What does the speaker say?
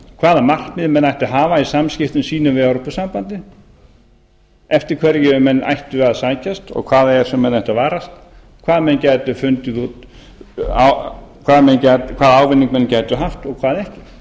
hvaða markmið menn ættu að hafa í samskiptum sínum við evrópusambandið eftir hverju menn ættu að sækjast og hvað það er sem menn ættu að varast hvaða ávinning menn gætu haft og hvern ekki